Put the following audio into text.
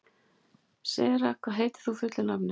Sera, hvað heitir þú fullu nafni?